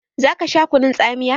Zaka sha kunun tsamiya?